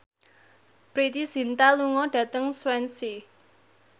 Preity Zinta lunga dhateng Swansea